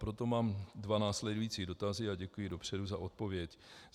Proto mám dva následující dotazy a děkuji dopředu za odpověď.